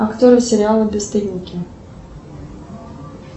актеры сериала бесстыдники